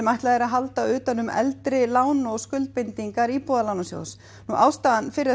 ætlað er að halda utan um eldri lán og skuldbindingar Íbúðalánasjóðs ástæðan fyrir